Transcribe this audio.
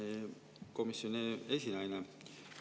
Hea komisjoni esinaine!